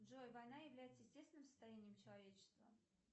джой война является естественным состоянием человечества